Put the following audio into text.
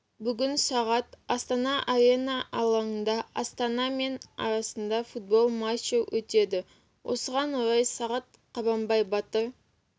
бүгін сағат астана арена алаңында астана мен арасында футбол матчы өтеді осыған орай сағат қабанбай батыр